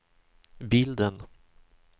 bilden